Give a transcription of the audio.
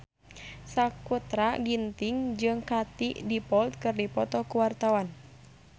Sakutra Ginting jeung Katie Dippold keur dipoto ku wartawan